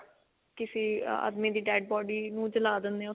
ਜਦੋਂ ਕਿਸੇ ਆਦਮੀ ਦੀ dead body ਨੂੰ ਜਲਾ ਦਿੰਦੇ ਆ